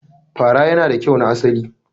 Fara yana da kyau na asali.